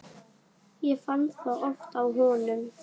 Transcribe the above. Ég fann það oft á honum.